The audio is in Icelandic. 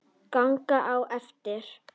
Ganga á eftir.